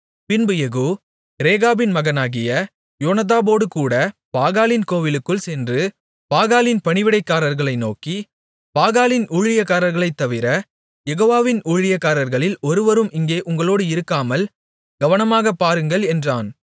பின்பு யெகூ ரேகாபின் மகனாகிய யோனதாபோடுகூடப் பாகாலின் கோவிலுக்குள் சென்று பாகாலின் பணிவிடைக்காரர்களை நோக்கி பாகாலின் ஊழியக்காரர்களைத் தவிர யெகோவாவின் ஊழியக்காரர்களில் ஒருவரும் இங்கே உங்களோடு இருக்காமல் கவனமாகப் பாருங்கள் என்றான்